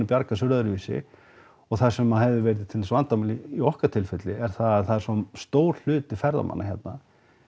bjarga sér öðruvísi og það sem hefði verið til dæmis vandamál í okkar tilfelli er það er svo stór hluti ferðamanna hérna